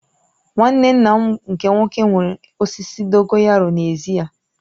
Nwanne nna m nke nwoke nwere osisi dogoyaru n'ezi ya